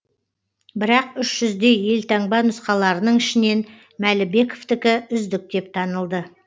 бірақ үш жүздей елтаңба нұсқаларының ішінен мәлібековтікі үздік деп танылды